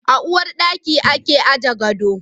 A uwar daki ake aje gado.